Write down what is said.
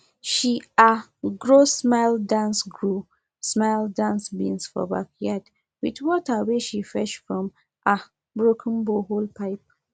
she um grow smile dance grow smile dance beans for backyard with water wey she fetch from um broken borehole pipe